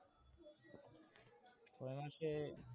ছয় মাসে